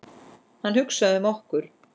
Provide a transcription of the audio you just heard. Hann hugsaði um okkur.